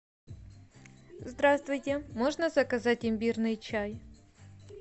здравствуйте можно заказать имбирный чай